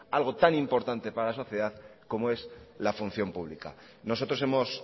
algo tan importante para la sociedad como es la función pública nosotros hemos